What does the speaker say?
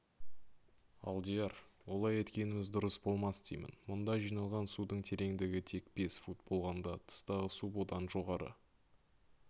алдияр олай еткеніміз дұрыс болмас деймін мұнда жиналған судың тереңдігі тек бес фут болғанда тыстағы су бұдан жоғары